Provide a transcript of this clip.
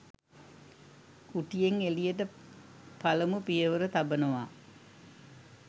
කුටියෙන් එළියට පළමු පියවර තබනවා